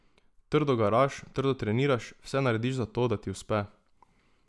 Trdo garaš, trdo treniraš, vse narediš za to, da ti uspe.